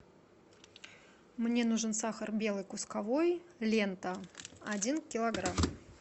мне нужен сахар белый кусковой лента один килограмм